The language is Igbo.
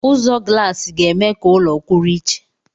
Ụzọ glaasi ga-eme ka ụlọ kwụrụ iche.